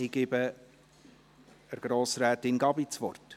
Ich gebe Grossrätin Gabi das Wort.